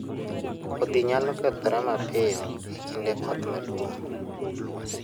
Kodhi nyalo kethore mapiyo e kinde koth maduong'